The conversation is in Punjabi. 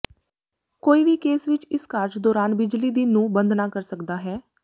ਕੋਈ ਵੀ ਕੇਸ ਵਿੱਚ ਇਸ ਕਾਰਜ ਦੌਰਾਨ ਬਿਜਲੀ ਦੀ ਨੂੰ ਬੰਦ ਨਾ ਕਰ ਸਕਦਾ ਹੈ